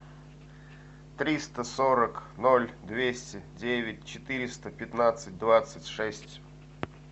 триста сорок ноль двести девять четыреста пятнадцать двадцать шесть